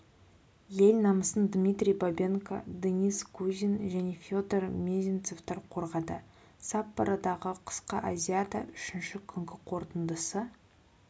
ел намысын дмитрий бабенко денис кузин және федор мезенцевтер қорғады саппородағы қысқы азиада үшінші күнгі қорытындысы